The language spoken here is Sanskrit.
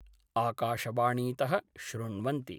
आकाशवाणीत: श्रृण्वन्ति।